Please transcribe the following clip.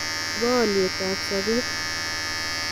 chebo olyet ab sobet